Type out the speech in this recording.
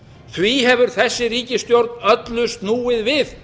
því hefur þessi ríkisstjórn öllu snúið við